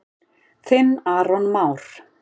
Þinn Aron Már.